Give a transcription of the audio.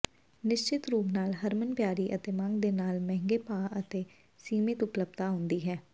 ਨਿਸ਼ਚਿਤ ਰੂਪ ਨਾਲ ਹਰਮਨਪਿਆਰੀ ਅਤੇ ਮੰਗ ਦੇ ਨਾਲ ਮਹਿੰਗੇ ਭਾਅ ਅਤੇ ਸੀਮਿਤ ਉਪਲੱਬਧਤਾ ਆਉਂਦੀ ਹੈ